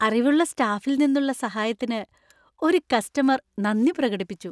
അറിവുള്ള സ്റ്റാഫിൽ നിന്നുള്ള സഹായത്തിന് ഒരു കസ്റ്റമര്‍ നന്ദി പ്രകടിപ്പിച്ചു.